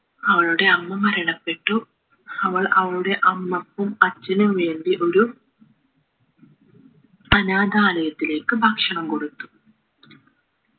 അവളുടെ അമ്മ മരണപ്പെട്ടു അവൾ അവളുടെ അമ്മക്കും അച്ഛനും വേണ്ടി ഒരു അനാഥാലയത്തിലേക്ക് ഭക്ഷണം കൊടുത്തു